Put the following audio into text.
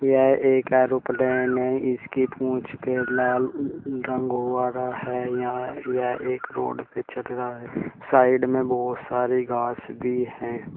यह एक एरोप्लेन है। इसकी पूंछ पे लाल रंग हुआ रहा है। यहां यह एक रोड पर चल रहा है। साइड में बहुत सारी घास भी हैं।